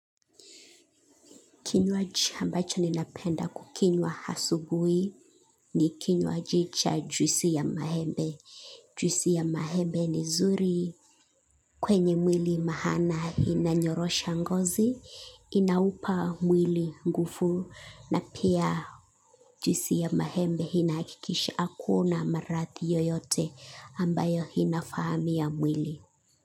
Kinywaji ambacho ninapenda kukinywa asubui ni kinywaji cha juisi ya maembe. Juisi ya maembe ni nzuri kwenye mwili maana inanyorosha ngozi, inaupa mwili nguvu na pia juisi ya maembe inahakikisha akuna marathi yoyote ambayo inafahami ya mwili.